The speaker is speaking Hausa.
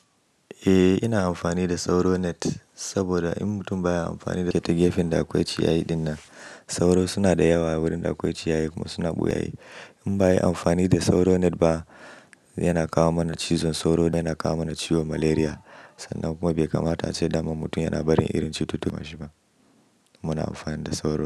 Eh ina amfani da sauro net saboda in mutum baya amfani da ita gefen da akwai ciyayi dinnan sauro suna da yawa wurin da akwai ciyayi kuma suna ɓuya yi. In ba ayi amfani da sauro net ba yana kawo mana cizon sauro yana kawo mana ciwon malaria sannan kuma bai kamata ace daman mutum yana barin irin cututtuka shi ba. Muna amfani da sauro.